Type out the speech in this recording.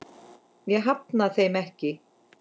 Ég hafna þeim ekki.